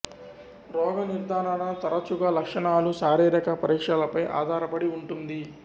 రోగ నిర్ధారణ తరచుగా లక్షణాలు శారీరక పరీక్షలపై ఆధారపడి ఉంటుంది